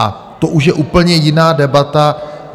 A to už je úplně jiná debata.